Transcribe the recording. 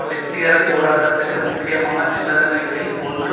வெற்றிகரப் போராட்டத்திற்கு முக்கியமான நிபந்தனைகளில் ஒன்று